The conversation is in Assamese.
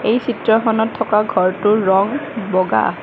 এই চিত্ৰখনত থকা ঘৰটোৰ ৰং বগা